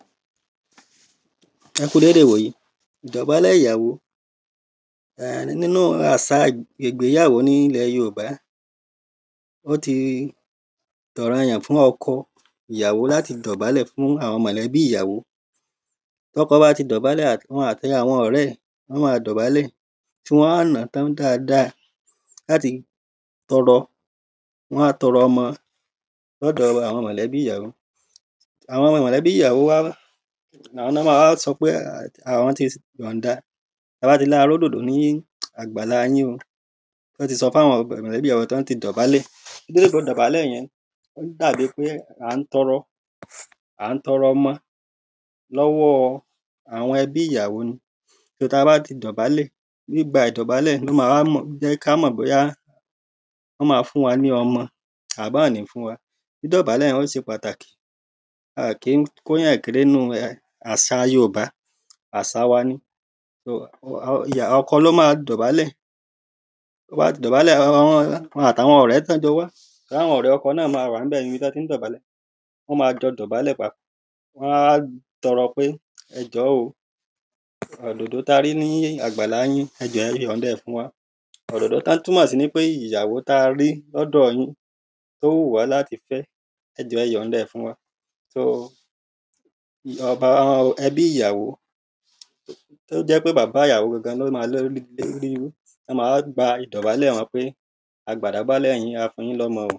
Ẹ kúu dédé ìwòyí Ìdọbálẹ̀ ìyàwó Nínú àṣà ìgbéyàwó ní ilẹ̀ Yorùbá Ó ti di ọ̀rọ̀ọyàn fún ọkọ ìyàwó láti dọ̀bálẹ̀ fún àwọn mọ̀lẹ́bí ìyàwó Tí ọkọ bá ti dọ̀bálẹ̀ òun àti àwọn ọ̀rẹ́ ẹ́ wọ́n ma dọ̀bálẹ̀ tí wọ́n á nà-án tán dáadáa láti tọrọ wọn á tọrọ ọmọ ní ọ̀dọ̀ àwọn mọ̀lẹ́bí ìyàwó Àwọn mọ̀lẹ́bí ìyàwó àwọn ni wọ́n ma wá sọ pé àwọn ti yànda Tí a bá ti ní a rí òdòdó ní àgbàlá yín o tí wọ́n ti sọ fún àwọn mọ̀lẹ́bí ìyàwó tí wọ́n ti dọ̀bálẹ̀ Ìdọ̀bálẹ̀ yẹn ó dà bíi pé à ń tọrọ à ń tọrọ ọmọ lọ́wọ́ àwọn ẹbí ìyàwó ni So tí a ba ti dọ̀bálẹ̀ ní ìgbà ìdọ̀bálẹ̀ ni ó ma wá jẹ́ kí a mọ̀ bóyá wọ́n ma fún wa ní ọmọ tàbí wọ́n ò ní fún wa Dídọ̀bálẹ̀ yẹn ó ṣe pàtàkì A à kì ń kó èyàn kéré nínú àṣàa Yorùbá Àṣà wa ni um ọkọ ni ó ma dọ̀bálẹ̀ Ti o ba ti dobale òhun àti àwọn ọ̀rẹ́ tí wọ́n jọ wá torí àwọn ọ̀rẹ́ ọkọ náà ma wà ní ibẹ̀ níbi tí wọ́n ti ń dọ̀bálẹ̀ Wọ́n ma jọ dọ̀bálẹ̀ papọ̀ Wọ́n á wá tọrọ pé ẹ̀jọ́ o òdòdó tí a rí ní àgbàlá yín ẹ jọ̀ọ́ è yànda ẹ̀ fún wa Òdòdó tí wọ́n ń túmọ̀ sí ni pé ìyàwó tí a rí ní ọ̀dọ̀ọ yín ó wù wá láti fẹ́ ẹ jọ̀ọ́ è yànda ẹ̀ fún wa So um ẹbí ìyàwó ó jẹ́ ń pé bàbá ìyàwó gangan ni ó ma um ní ó ma wá gbà ìdọ̀bálẹ̀ wọn pé a gbåǃ ìdọ̀bálẹ̀ yín a fún yín ní ọmọ o